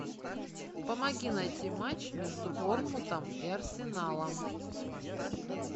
помоги найти матч между борнмутом и арсеналом